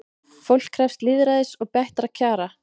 Fólk krefst lýðræðis og bættra kjara